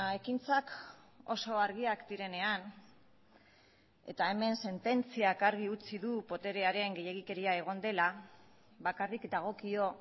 ekintzak oso argiak direnean eta hemen sententziak argi utzi du boterearen gehiegikeria egon dela bakarrik dagokio